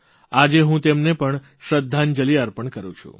આજે હું તેમને પણ શ્રદ્ધાંજલિ અર્પણ કરૂં છું